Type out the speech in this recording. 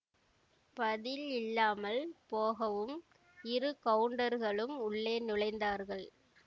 பதில் இல்லாமல் போகவும் இரு கவுண்டர்களும் உள்ளே நுழைந்தார்கள்